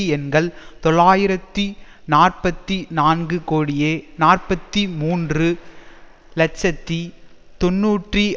எண்கள் தொள்ளாயிரத்தி நாற்பத்தி நான்கு கோடியே நாற்பத்தி மூன்று இலட்சத்தி தொன்னூற்றி